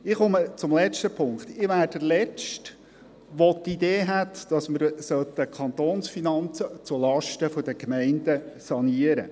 Ich bin der Letzte, der die Idee vertritt, die Kantonsfinanzen sollten zulasten der Gemeinden saniert werden.